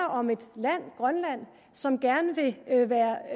om et land grønland som gerne vil være